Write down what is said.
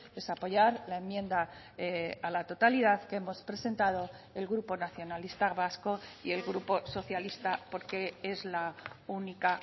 es apoyar la enmienda a la totalidad que hemos presentado el grupo nacionalista vasco y el grupo socialista porque es la única